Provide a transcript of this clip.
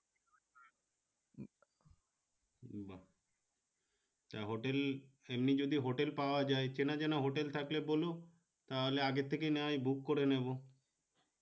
তা hotel এমনি যদি hotel পাওয়া যায় চেনা জানা hotel থাকলে বলো তাহলে আগে থেকে না হয় book করে নিবো